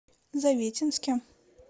завитинске